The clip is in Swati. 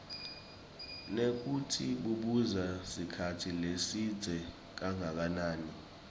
nekutsi bubusa sikhatsi lesidze kangakanani